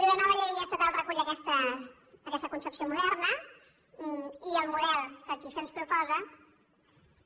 la nova llei estatal recull aquesta concepció moderna i el model que aquí se’ns proposa també